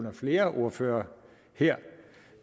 af flere ordførere her